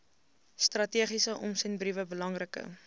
strategiese omsendbriewe belangrike